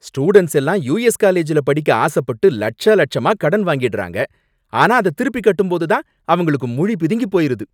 Students எல்லாம் US காலேஜ்ல படிக்க ஆசப்பட்டு லட்ச லட்சமா கடன் வாங்கிடுறாங்க, ஆனா அத திருப்பி கட்டும் போது தான் அவங்களுக்கு முழி பிதுங்கி போயிருது.